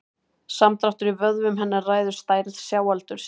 Samdráttur í vöðvum hennar ræður stærð sjáaldursins.